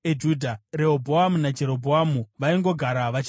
Rehobhoamu naJerobhoamu vaingogara vachirwisana.